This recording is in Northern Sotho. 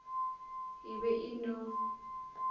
e be e e no